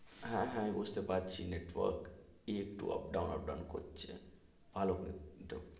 হ্যা, হ্যা, আমি বুঝতে পারছি নেটওয়ার্ক একটু up down up down করছে,